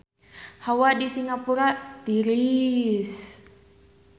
Hawa di Singapura tiris